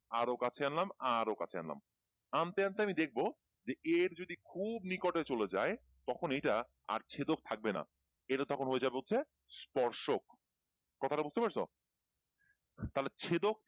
আরো কাছে আনলাম আরো কাছে আনলামআন্তে আন্তে আমি দেখবো A এর যদি খুব নিকটে চলে যায় তখন এইটা আর ছেদক থাকবে না এইটা তখন হয়ে যাবে হচ্ছে স্পর্শক কথাটা বুঝতে পারছো তাহলে ছেদক